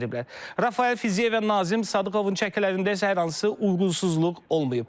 Rafael Fəziyev və Nazim Sadıqovun çəkilərində isə hər hansı uyğunsuzluq olmayıb.